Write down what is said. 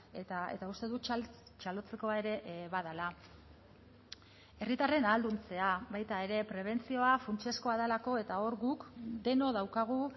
eta uste dut txalotzekoa ere badela herritarren ahalduntzea baita ere prebentzioa funtsezkoa delako eta hor guk denok daukagu